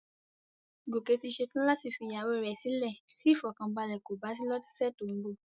Gòkè ti ṣe tán láti fi ìyàwó rẹ sílè tí ìfọ̀kànbalẹ̀ kò bá sí lọ́sẹ̀ tó ń bọ̀